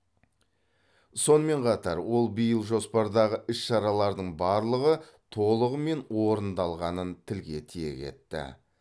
сонымен қатар ол биыл жоспардағы іс шаралардың барлығы толығымен орындалғанын тілге тиек етті